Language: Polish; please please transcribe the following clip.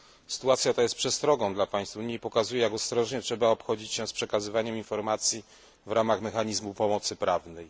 Sytuacja ta jest przestrogą dla państw Unii i pokazuje, jak ostrożnie trzeba obchodzić się przekazywaniem informacji w ramach mechanizmu pomocy prawnej.